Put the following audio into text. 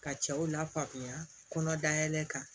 Ka cɛw lafaamuya kɔnɔ dayɛlɛ kan